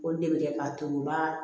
O de bɛ kɛ k'a turuba